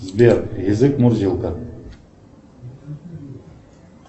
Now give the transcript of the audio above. сбер язык мурзилка